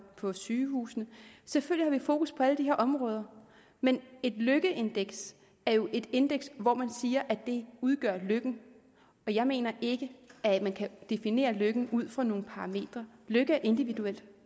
på sygehusene selvfølgelig har vi fokus på alle de her områder men et lykkeindeks er jo et indeks hvor man siger at det udgør lykken jeg mener ikke man kan definere lykke ud fra nogle parametre lykke er individuelt